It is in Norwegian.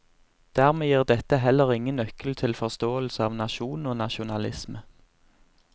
Dermed gir dette heller ingen nøkkel til forståelse av nasjon og nasjonalisme.